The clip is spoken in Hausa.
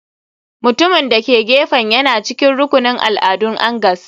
Mutumin da ke gefen yana cikin rukunin al'adun angas.